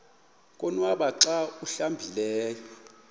konwaba xa awuhlambileyo